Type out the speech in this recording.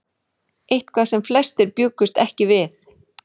Eitthvað sem flestir bjuggust ekki við